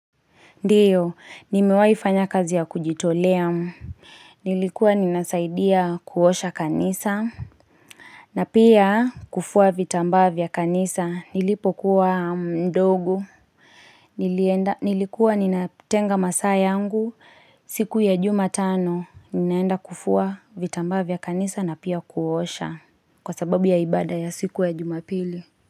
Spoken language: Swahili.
Ndio, nimewaifanya kazi ya kujitolea. Nilikuwa ninasaidia kuosha kanisa. Na pia kufua vitambaa vya kanisa. Nilipokuwa mdogo. Nilikuwa ninatenga masaa yangu. Siku ya jumatano. Ninaenda kufua vitambaa vya kanisa na pia kuosha. Kwa sababu ya ibada ya siku ya jumapili.